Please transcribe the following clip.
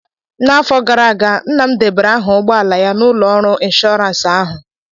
N'afọ gara aga, nna m debara aha ụgbọ ala ya na ụlọ ọrụ ịnshọransị ahụ